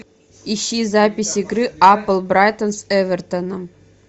ищи запись игры апл брайтон с эвертоном